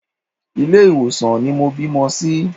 Ilé ìwòsàn ni mo bímọ sí.